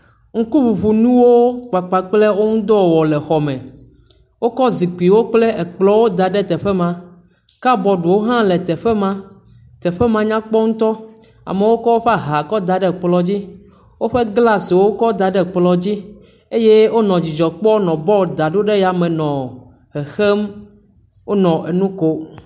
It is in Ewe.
Ŋkuŋuŋunuwo kpakple wo ŋudɔwɔwɔ le xɔ me, wokɔ zikpuiwo kple ekplɔwo da ɖe teƒe ma kabɔɖiwo hã le teƒe ma, teƒe ma nyakpɔ ŋutɔ amewo kɔ woƒe aha kɔ da ɖe kplɔ dzi, woƒe glsiwo kɔ da ɖe kplɔ dzi eye wonɔ dzidzɔ kpɔm nɔ bɔlu dam ɖe yame nɔ xexem, wonɔ nu kom.